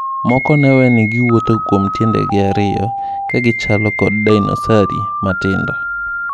Moko neweeni giwuotho kuom tiendegi ariyo ,kagichalo kod dinosari matindo.